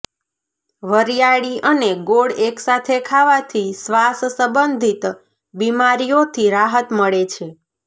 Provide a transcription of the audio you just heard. વરીયાળી અને ગોળ એકસાથે ખાવાથી શ્વાસ સંબંધિત બીમારિયો થી રાહત મળે છે